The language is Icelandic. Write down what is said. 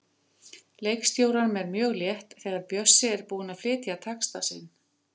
Leikstjóranum er mjög létt þegar Bjössi er búinn að flytja texta sinn.